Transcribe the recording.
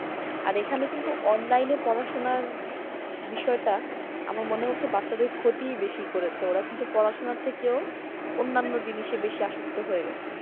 আর এখানে কিন্তু online পড়াশুনার বিষয়টা আমার মনে হচ্ছে যে বাচ্চাদের বেশি ক্ষতিই বেশি করেছে ওরা কিন্তু পড়াশুনার থেকেও অন্যান্য জিনিসে বেশি আসক্ত হয়ে গেছে ।